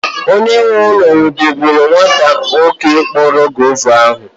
Onye nwe ụlọ nwụdere nwata nwoke kporo guava ahụ.